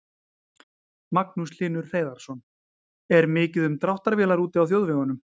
Magnús Hlynur Hreiðarsson: Er mikið um dráttarvélar úti á þjóðvegunum?